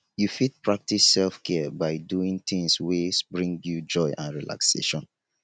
you fit practice self-care by doing tings wey bring you joy and relaxation.